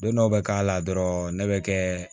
Don dɔ bɛ k'a la dɔrɔn ne bɛ kɛ